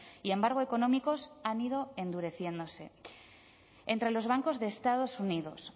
y embargo económicos han ido endureciéndose entre los bancos de estados unidos